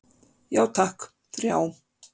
Já takk, þrjá.